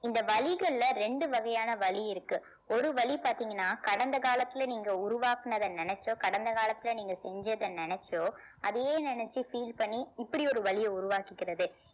இந்த வலிகள்ல ரெண்டு வகையான வலி இருக்கு ஒரு வலி பாத்தீங்கன்னா கடந்த காலத்துல நீங்க உருவாக்குனதை நினைச்சோ கடந்த காலத்தில நீங்க செஞ்சதை நினைச்சோ அதையே நினைச்சு feel பண்ணி இப்படி ஒரு வலியை உருவாக்கிக்கிறது